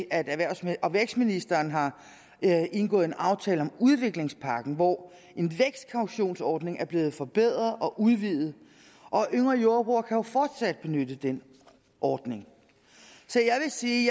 at erhvervs og vækstministeren har indgået en aftale om udviklingspakken hvor en vækstkautionsordning er blevet forbedret og udvidet og yngre jordbrugere kan jo fortsat benytte den ordning så jeg vil sige